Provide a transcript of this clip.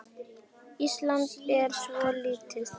Ísland er svo lítið!